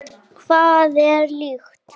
Hvað er lykt?